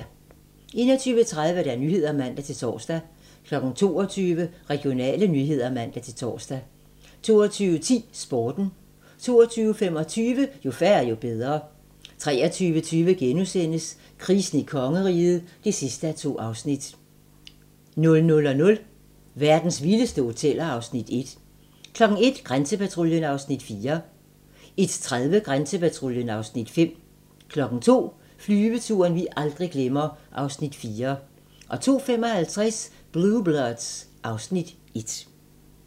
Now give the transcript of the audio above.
21:30: Nyhederne (man-tor) 22:00: Regionale nyheder (man-tor) 22:10: Sporten 22:25: Jo færre, jo bedre 23:20: Krisen i kongeriget (2:2)* 00:00: Verdens vildeste hoteller (Afs. 1) 01:00: Grænsepatruljen (Afs. 4) 01:30: Grænsepatruljen (Afs. 5) 02:00: Flyveturen vi aldrig glemmer (Afs. 4) 02:55: Blue Bloods (Afs. 1)